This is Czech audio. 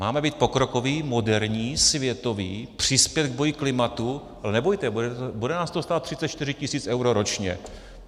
Máme být pokrokoví, moderní, světoví, přispět k boji klimatu - no nebojte, bude nás to stát 34 tisíc eur ročně.